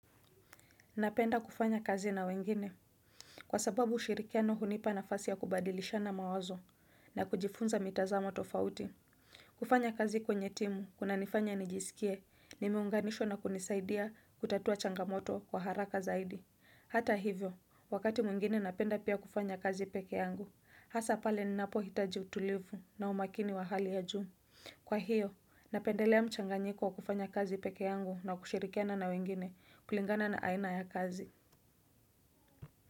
Napenda kufanya kazi na wengine. Kwa sababu ushirikiano hunipa nafasi ya kubadilishana mawazo na kujifunza mitazamo tofauti. Kufanya kazi kwenye timu, kunanifanya nijisikie nimeunganishwa na kunisaidia kutatua changamoto kwa haraka zaidi. Hata hivyo, wakati mwengine napenda pia kufanya kazi pekee yangu, hasa pale ninapohitaji utulivu na umakini wa hali ya juu. Kwa hiyo, napendelea mchanganyiko wa kufanya kazi pekee yangu na kushirikiana na wengine kulingana na aina ya kazi.